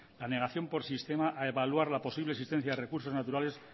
la negación por sistema a evaluar la posible existencia de recursos naturales